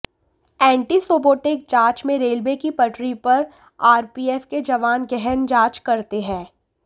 anti sabotage जांच में railway की पटरी पर आरपीएफ के जवान गहन जांच करते हैं